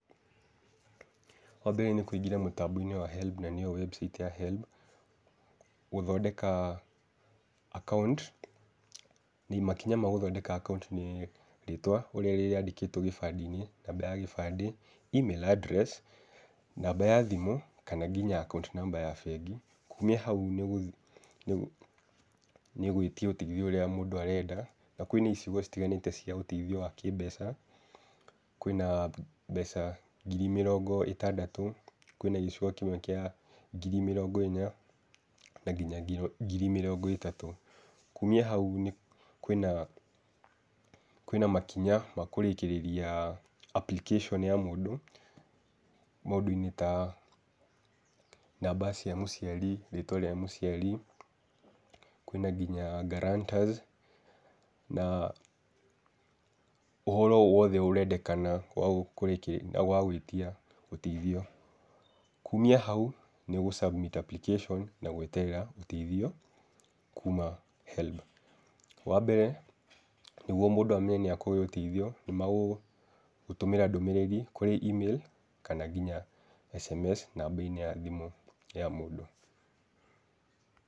Wa mbere nĩ kũingĩra mũtambo-inĩ wa helb, na nĩyo website ya HELB gũthondeka akaunti. Makinya ma gũthondeka akaunti nĩ rĩtwa ũrĩa rĩandĩkĩtwo gĩbandĩ-inĩ, namba ya gĩbandĩ, Email adress, namba ya thimũ , kana nginya akaunti namba ya bengi. Kumia hau, nĩ gwĩtia ũteithio ũrĩa mũndũ arenda, na kwĩna icigo itiganĩte cia ũteithio wa kĩmbeca, kwĩna mbeca ngiri mĩrongo ĩtandatũ, kwĩna gĩcigo nginya kĩa ngiri mĩrongo ĩna, na nginya ngiri mĩrongo ĩtatũ. Kumia hau kwĩna makinya ma kũrĩkĩrĩria application ya mũndũ, maũndũ-inĩ ta namba cia mũciari, rĩtwa rĩa mũciari kwĩ na nginya gurantors. Na ũhoro ũyũ wothe ũrendekana wa gwĩtia ũteithio. Kumia hau nĩ ũgũ submit application na gweterera ũteithio kuma HELB. Wa mbere nĩguo mũndũ amenye nĩ akũheyo ũteithio, nĩ magũgũtũmĩra ndũmĩrĩri kũrĩ email kana nginya SMS namba-inĩ ya thimũ ya mũndũ.